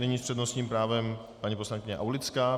Nyní s přednostním právem paní poslankyně Aulická.